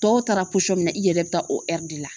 Dɔw taara i yɛrɛ bɛ taa o de la